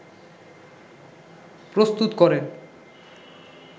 প্রস্তুত করেন